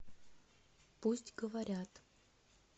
пусть говорят